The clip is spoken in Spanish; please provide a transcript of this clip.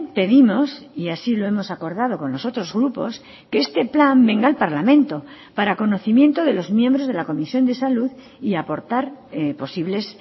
pedimos y así lo hemos acordado con los otros grupos que este plan venga al parlamento para conocimiento de los miembros de la comisión de salud y aportar posibles